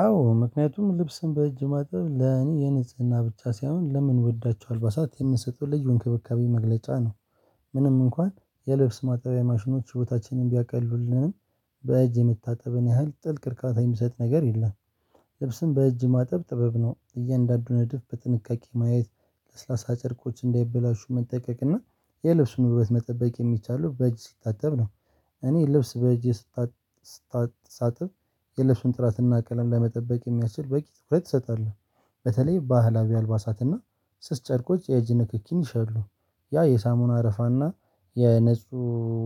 አዎ ምክንያቱም ልብስን በእጅ ማጥበብ ለእኔ የንጽህና ብቻ ሳይሆን ለምንወዳቸው አልባሳት የምንሰጠው ልጁ እንክብካቤ መግለጫ ነው። ምንም እንኳን የልብስ ማጣቢያ ማሽኖች ሂይዎታችንን ቢያቀልሉልንም በእጅ የምታጠብን ያህል ጥልቅ እርካታ የሚሰጥ ነገር የለም። ልብስን በእጅ ማጠብ ጥበብ ነው እያንዳንዱን እድፍ በጥንቃቄ ማየት ለስላሳ ጨርቆች እንዳይበላሹ መጠቀቅ እና የልብሱን ውበት መጠበቅ የሚቻለው በእጅ ሲታተብ ነው እኔ ልብስ በእጄ ስታሳ ሳጥብ የለሽንጥራትና ቀለም ለመጠበቅ የሚያስችል በቂ ትኩረት ትሰጣለህ። በተለይ ባህላዊ አልባሳትና ስስ ጨርቆች የእጅ ንክኪኝ ይሸሉ ያ የሳሙና አረፋና የነጹ